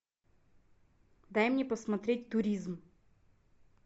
дай мне посмотреть туризм